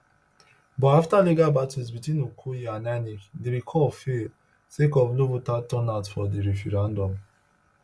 but afta legal battles between okoye and inec di recall fail sake of low voter turnout for di referendum